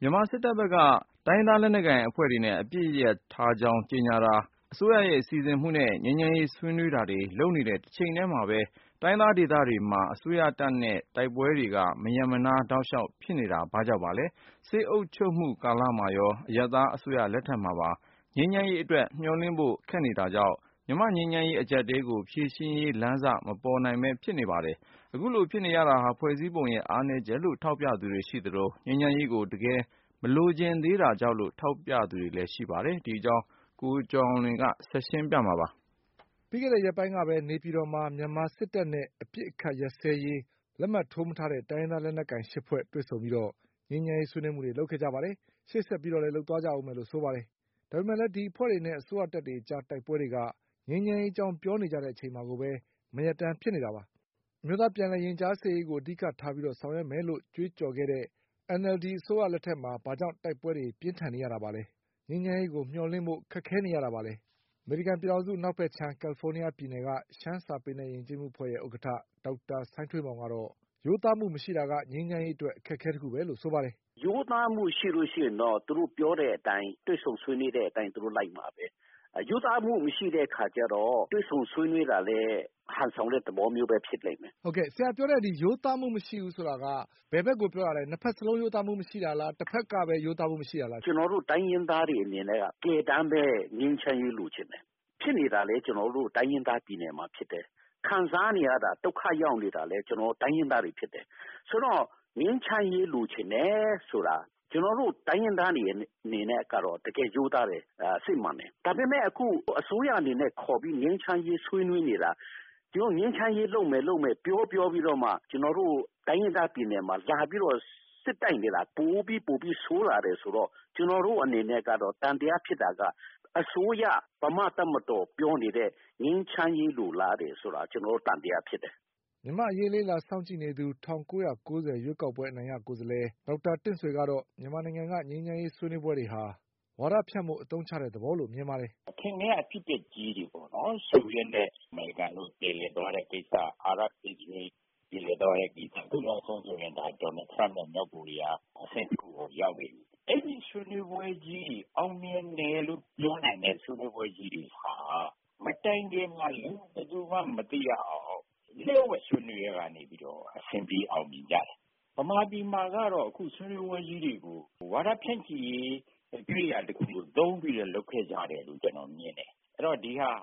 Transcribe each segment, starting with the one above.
မြန်မာစစ်တပ်ဘက်က တိုင်းရင်းသားလက်နက်ကိုင်အဖွဲ့တွေနဲ့ အပစ်ရပ်ကြောင်းကြေညာတာ၊ အစိုးရရဲ့စီစဉ်မှုနဲ့ ငြိမ်းချမ်းရေးဆွေးနွေးတာတွေလုပ်နေတဲ့ တချိန်ထဲမှာ တိုင်းရင်းသား ဒေသတွေအတွင်း အစိုးရတပ်နဲ့တိုက်ပွဲတွေက မရပ်မနားတောက်လျှောက်ဖြစ်နေရတာ ဘာကြောင့်ပါလဲ။ စစ်အုပ်ချုပ်မှု ကာလမှာရော အရပ်သားအစိုးရ လက်ထက်မှာပါ ငြိမ်းချမ်းရေး အတွက် မျှော်လင့်ဖို့ခက်နေတာကြောင့် မြန်မာ့ငြိမ်းချမ်းရေးအကျပ်အတည်းကိုဖြေရှင်းရေး လမ်းစ မပေါ်နိုင် ပဲဖြစ်နေပါတယ်။ အခုလိုဖြစ်နေရတာဟာ ဖွဲ့စည်းပုံရဲ့ အားနည်းချက်လို့ ထောက်ပြသူတွေရှိသလို၊ ငြိမ်းချမ်းရေးကို တကယ်မလိုချင်သေး တာကြောင့် လို့လည်းထောက်ပြကြပါတယ်။ ဒီအကြောင်း ကိုကျော်အောင်လွင် ဆက်ပြောပါလိမ့် မယ်။ ပြီးခဲ့တဲ့ရက်ပိုင်းကပဲ နေပြည်တော်မှာ မြန်မာစစ်တပ်နဲ့အပစ်အခတ်ရပ်ဆဲရေး လက်မှတ်မထိုးထားတဲ့ တိုင်းရင်းသားလက်နက်ကိုင်အဖွဲ့ ၈ဖွဲ့တွေ့ဆုံပြီး ငြိမ်းချမ်းရေးဆွေးနွေးမှုတွေ လုပ်ခဲ့ကြပါတယ်။ ရှေ့ဆက်ပြီးလည်းလုပ်ကြဦးမယ်လို့ဆိုပါတယ်။ ဒါပေမဲ့လည်း ဒီအဖွဲ့တွေနဲ့ အစိုးရတပ်တွေအကြား တိုက်ပွဲတွေက ငြိမ်းချမ်းရေးအကြောင်းပြောနေတဲ့အချိန်မှာကိုပဲ မရပ်တန်းဖြစ်နေတာပါ။ အမျိုးသားပြန်လည်ရင်ကြားစေ့ရေးကို အဓိကထားပြီးဆောင်ရွက်မယ်လို့ ကြွေးကြော်ခဲ့တဲ့ NLD အစိုး ရ လက်ထက်မှာ ဘာကြောင့်တိုက်ပွဲတွေပြင်းထန်နေရတာပါလဲ။ ငြိမ်းချမ်းရေးကိုမျှော်လင့်ဖို့ ဘာကြောင့်ခက်ခဲ နေရတာ ပါလဲ။ အမေရိကန်ပြည်ထောင်စုအနောက်ဘက်ခြမ်း ကလ်လီဖိုးနီးယားပြည်နယ်က ရှမ်းစာပေနဲ့ ယဉ်ကျေးမှုအဖွဲ့ရဲ့ ဥက္ကဌ ဒေါက်တာ စိုင်းထွေးမောင်ကတော့ ရိုးသားမှု မရှိတာက ငြိမ်းချမ်းရေးအတွက် အခက်အခဲတခုပဲလို့ဆိုပါတယ်။ “ရိုးသားမှု ရှိရင်တော့ သူတို့ ပြောတဲ့အတိုင်း တွေ့ဆုံဆွေးနွေးတဲ့အတိုင်းလိုက်မှာပဲ ၊ ရိုးသားမှု မရှိတဲ့အခါကျတော့ တွေ့ဆုံဆွေးနွေးတာလည်း ဟန်ဆောင်တဲ့ သဘောပဲ ဖြစ်လိမ့်မယ်။ မေး။ ။ ဆရာပြောတဲ့ ရိုးသားမှု မရှိဘူးဆိုတာက ဘယ်ဘက်ကို ပြောတာပါလဲ။ နှစ်ဖက်စလုံး ရိုးသားမှု မရှိတာလား တဖက်ကပဲ ရိုးသားမှု မရှိတာလား။ ဖြေ။ ။ ကျနော်တို့တိုင်းရင်းသားတွေအနေနဲ့က တကယ်တမ်း ငြိမ်းချမ်းရေးလိုချင်တယ်။ ဖြစ်နေတာလည်း ကျနော်တို့ တိုင်းရင်းသားပြည်နယ်မှာဖြစ်တယ်။ ခံစားနေရတာ၊ ဒုက္ခရောက်တာလည်း ကျနော်တို့ တိုင်းရင်းသားတွေဖြစ်တယ်။ ဆိုတော့ ငြိမ်းချမ်းရေးလိုချင်တယ်ဆိုတာ ကျနော်တို့တိုင်းရင်းသားတွေအနေနဲ့ကတော့ တကယ်ရိုးသားတယ် စစ်မှန်တယ်။ ဒါပေမယ့် အခု အစိုးရအနေနဲ့ ခေါ်ပြီး ငြိမ်းချမ်းရေးဆွေးနွေးနေတာ ငြိမ်းချမ်းရေးလုပ်မယ်လို့ ပြောပြောပြီးတော့မှ ကျနော်တို့ တိုင်းရင်းသားပြည်နယ်မှာ လာပြီး စစ်တိုက်နေတာ ပိုပြီးဆိုးလာတယ်ဆိုတော့ ကျနော်တို့အနေနဲ့ သံသယဖြစ်တာက အစိုးရ မြန်မာ့တပ်မတော် ပြောနေတဲ့ ငြိမ်းချမ်းရေးလိုလားတယ်ဆိုတာ ကျနော်တို့အနေနဲ့ သံသယဖြစ်တယ်။ မြန်မာ့အရေးစောင့်ကြည့်လေ့လာနေသူ ၁၉၉၀ရွေးကောက်ပွဲ အနိုင်ရကိုယ်စားလှယ် ဒေါက်တာတင့်ဆွေ ကတော့ မြန်မာနိုင်ငံကငြိမ်းချမ်းရေးဆွေးနွေးပွဲတွေဟာ ဝါဒဖြန့်ဖို့ အသုံးချတဲ့ သဘောလို့မြင်ပါတယ်။ “အထင်ကရ အဖြစ်အပျက်တွေပေါ့နော် ဆိုဗီယက်နဲ့ အမေရိကန်တွေ ပြေလည်သွားတဲ့ ကိစ္စ ၊ အာရတ် -အစ္စရေး ပြေလည်သွားတဲ့ ကိစ္စ ၊ အခုနောက်ဆုံးဆိုရင် Trump နဲ့ မြောက်ကိုရီးယား လည်းအဆင့်တခုကို ရောက်နေပြီ ။ အဲလိုအောင်မြင်တယ်လို့ ပြောနိုင်တဲ့ ဆွေးနွေးပွဲကြီးတွေဟာ မတိုင်ခင်မှာ ဘယ်သူူမှ မသိရအောင် လျှို့ဝှက် ဆွေးနွေးတာကနေပြီးတော့ အဆင်ပြေအောင်မြင်ကြတယ်။ မြန်မာပြည်မှာကတော့ ဆွေးနွေးပွဲတွေကို ဝါဒဖြန့်ဖို့ အရာတခုလိုသုံးပြီးတော့ လုပ်ခဲ့ကြတယ်လို့ ကျနော်မြင်တယ်။ ဆိုတော့ ဒါက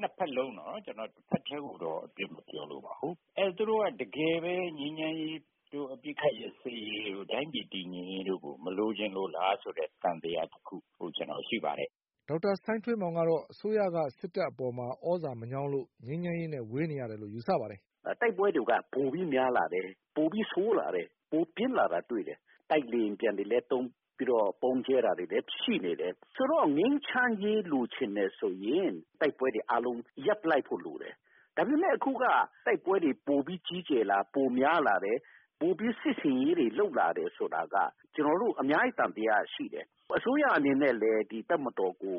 နှစ်ဖက်လုံးနော် တဖက်တည်းကိုတော့ အပြစ်မပြောလိုဘူး။ သူတို့ကတကယ်ပဲ ငြိမ်းချမ်းရေးတို့ အပစ်ခတ်ရပ်စဲရေးတို့ တိုင်းပြည်တည်ငြိမ်ရေးကို မလိုချင်လို့လားဆိုတဲ့ သံသယတခုကျနော်ရှိပါတယ်။ ဒေါက်တာစိုင်းထွေးမောင်ကတော့ အစိုးရက စစ်တပ်အပေါ်သြဇာမညောင်းလို့ ငြိမ်းချမ်းရေးနဲ့ဝေးနေရတယ်လို့ ယူဆပါတယ်။ “တိုက်ပွဲတွေက ပိုပြီးတော့ များလာတယ် ပိုပြီးတော့ ဆိုးလာတယ် ပိုပြီးတော့ ပြင်းလာတာတွေ့တယ်။ တိုက်လေယာဉ်ပျံတွေလည်း သုံးပြီးတော့ ဗုံးကျဲတာတွေလည်းရှိနေတယ်။ ဆိုတော့ ငြိမ်းချမ်းရေးလိုချင်တယ်ဆိုရင် တိုက်ပွဲတွေအားလုံး ရပ်လိုက်ဖို့လိုတယ်။ ဒါပေမယ့်အခုက တိုက်ပွဲတွေကြီးလာတယ် ပိုများလာတယ် ၊ ပိုပြီး စစ်ဆင်ရေးတွေလုပ်လာတယ်ဆိုတာက ကျနော်တို့ အများကြီး သံသယရှိတယ်။ အစိုးရအနေနဲ့ကလည်း တပ်မတော်ကို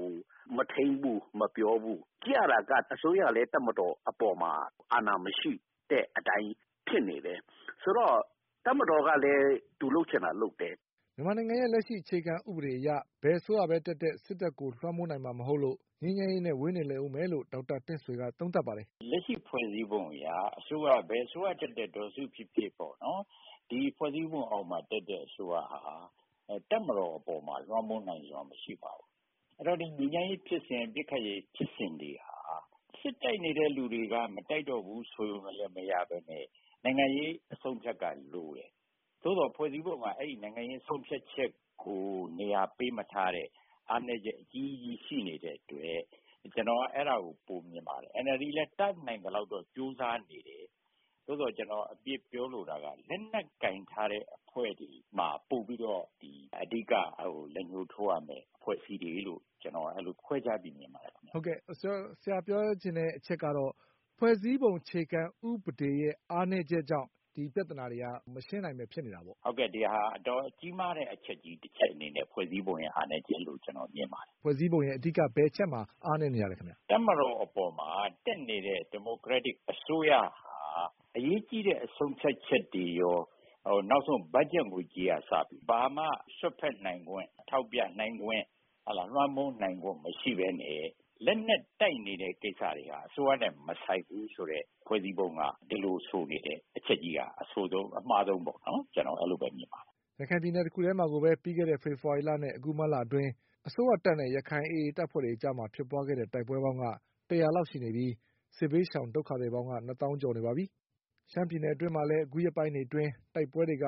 မထိန်းဘူး မပြောဘူး ။ ကြည့်ရတာက အစိုးရအနေနဲ့ကလည်း တပ်မတော်အပေါ်မှာ အာဏာမရှိဘူးဖြစ်နေတယ်။ ဆိုတော့ တပ်မတော်ကလည်း သူလုပ်ချင်တာ လုပ်တယ်။” မြန်မာနိုင်ငံရဲ့လက်ရှိအခြေခံ ဥပဒေအရ ဘယ်အစိုးရတက်တက် စစ်တပ်ကိုလွှမ်းမိုးနိုင်မှာမဟုတ်လို့ ငြိမ်းချမ်းရေးနဲ့ ဝေးနေလိမ့်ဦးမယ်လို့ ဒေါက်တာတင့်ဆွေကသုံးသပ်ပါတယ်။ “လက်ရှိဖွဲ့စည်းပုံအရ ဘယ်အစိုးရက တက်တက် ဒေါ်စုဖြစ်ဖြစ်၊ ဒီဖွဲ့စည်းပုံအအောက်မှာ တက်တဲ့အစိုးရဟာ တပ်မတော်အပေါ်မှာ လွှမ်းမိုးနိုင်စွမ်းမရှိပါဘူး။ အဲဒီတော့ ငြိမ်းချမ်းရေးဖြစ်စဉ်၊ အပစ်အခတ်ရပ်ရေး ဖြစ်စဉ်တွေဟာ စစ်တိုက်နေတဲ့ လူတွေက မတိုက်တော့ဘူးဆိုတာနဲ့တင်မရပဲနဲ့ နိုင်ငံရေးအဆုံးအဖြတ်ကလိုတယ်။ သို့သော်ဖွဲ့စည်းပုံက အဲဒီ နိုင်ငံရေးဆုံးဖြတ်ချက်ကို နေရာပေးမထားတဲ့ အားနည်းချက်အကြီးကြီးရှိနေတဲ့အတွက် ကျနော်ကတော့ အဲဒါကို ပိုမြင်ပါတယ်။ NLD လည်း တတ်နိုင်သလောက်တော့ ကြိုးစားနေတယ် သို့သော်ကျနော်အပြစ်ပြောလိုတာက လက်နက်ကိုင်ထားတဲ့ အဖွဲ့တွေမှာ ပိုပြီးတော့ အဓိက ပိုပြီးတော့ လက်ညှိုး ထိုးရမယ့် အဖွဲ့အစည်းတွေလို့ ကျနော်အဲလို ခွဲခြားပြီးမြင်ပါတယ်။ မေး။ ။ ဆရာပြောချင်တဲ့ အချက်ကတော့ ဖွဲ့စည်းပုံအခြေခံ ဥပဒေရဲ့ အားနည်းချက်ကြောင့် ဒီပြဿနာတွေက မရှင်းနိုင်ပဲ ဖြစ်နေတာပေါ့။ ဖြေ။ ။ ဟုတ်တယ် ဒါက အတော်ကြီးမားတဲ့ အချက်တချက်အနေနဲ့ ဖွဲ့စည်းပုံရဲ့ အားနည်းချက်လို့မြင်ပါတယ်။ မေး။ ။ ဖွဲ့စည်းပုံရဲ့ ဘယ်အချက်မှာ အားနည်းနေတာလဲခင်ဗျ ဖြေ။ ။ တပ်မတော်အပေါ်မှာ တက်နေတဲ့ ဒီမိုကရက်တစ်အစိုးရဟာ အရေးကြီးတဲ့ ဆုံးဖြတ်ချက်တွေရော နောက်ဆုံး ဘတ်ဂျက် ငွေကြေးကအစ ဘာမှ စွက်ဖက်နိုင်ခွင့် ထောက်ပြနိုင်ခွင့်၊ လွှမ်းမိုးနိုင်ခွင့် မရှိပဲနဲ့ လက်နက်တိုက်နေတဲ့ ကိစ္စတွေဟာ အစိုးရနဲ့ မဆိုင်ဘူးလို့ ဖွဲ့စည်းပုံက ဒီလိုဆိုထားတဲ့အချက်က အဆိုးဆုံး၊ အမှားဆုံးလို့ ကျနော်အဲလိုမြင်ပါတယ်။” ရခိုင်ပြည်နယ်တခုထဲမှာကိုပဲ ပြီးခဲ့တဲ့ဖေဖေါ်ဝါရီနဲ့ အခုမတ် လအတွင်း အစိုးရတပ်နဲ့ ရခိုင်AA တပ်ဖွဲ့အကြားဖြစ်ပွားခဲ့တဲ့တိုက်ပွဲပေါင်းက ၁၀၀ လောက်ရှိခဲ့ပြီး စစ်ဘေးရှောင်ဒုက္ခသည် တွေ နှစ်သောင်းကျော်ရှိနေပါတယ်။ ရှမ်းပြည်နယ်အတွင်းမှာလည်း အခုရက်ပိုင်းတွေ အတွင်းတိုက်ပွဲတွေက